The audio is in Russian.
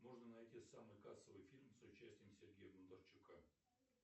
можно найти самый кассовый фильм с участием сергея бондарчука